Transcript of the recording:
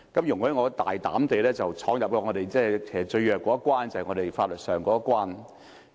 容我大膽地闖入我們最弱的一關，便是法律這一關。